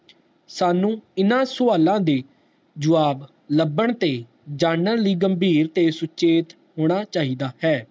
ਸਾਨੂ ਇੰਨਾ ਸਵਾਲ ਦੇ ਜਵਾਬ ਲੱਭਣ ਤੇ ਜਾਨਣ ਲਈ ਗੰਭੀਰ ਤੇ ਸੁਚੇਤ ਹੋਣਾ ਚਾਹੀਦਾ ਹੈ